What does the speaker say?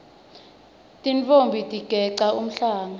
tintfombi tigeca umhlanga